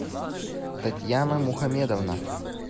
татьяна мухамедовна